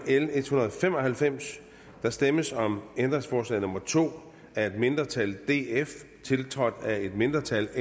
l en hundrede og fem og halvfems der stemmes om ændringsforslag nummer to af et mindretal tiltrådt af et mindretal